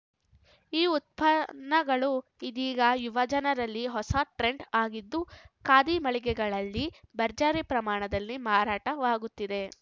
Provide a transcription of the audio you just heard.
ಈ ಉತ್ಪನ್ನಗಳು ಇದೀಗ ಯುವಜನರಲ್ಲಿ ಹೊಸ ಟ್ರೆಂಡ್‌ ಆಗಿದ್ದು ಖಾದಿ ಮಳಿಗೆಗಳಲ್ಲಿ ಭರ್ಜರಿ ಪ್ರಮಾಣದಲ್ಲಿ ಮಾರಾಟವಾಗುತ್ತಿದೆ